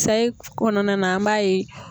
Sayi kɔnɔna na an m'a ye